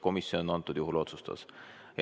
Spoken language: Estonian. Komisjon antud juhul otsustaski nii.